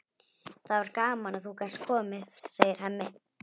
Það var gaman að þú gast komið, segir Hemmi.